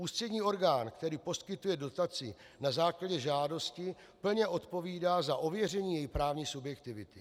Ústřední orgán, který poskytuje dotaci na základě žádosti, plně odpovídá za ověření její právní subjektivity.